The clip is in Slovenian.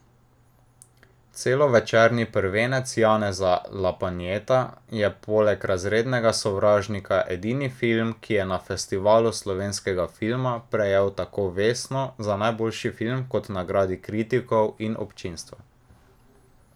Celovečerni prvenec Janeza Lapajneta je poleg Razrednega sovražnika edini film, ki je na festivalu slovenskega filma prejel tako vesno za najboljši film kot nagradi kritikov in občinstva.